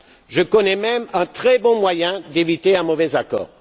Je connais même un très bon moyen d'éviter un mauvais accord.